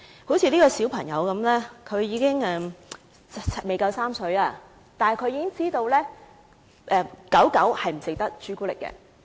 例如，這個小朋友不足3歲，但他已經知道小狗不可以吃巧克力。